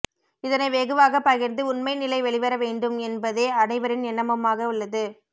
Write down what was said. இதனை வெகுவாக பகிர்ந்து உண்மை நிலை வெளிவர வேண்டும் என்பதே அனைவரின் எண்ணமுமாக உள்ளது